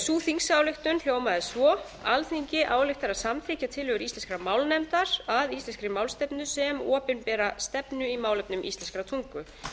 sú þingsályktun hljómaði svo alþingi ályktar að samþykkja tillögur íslenskrar málnefndar að íslenskri málstefnu sem opinbera stefnu í málefnum íslenskrar tungu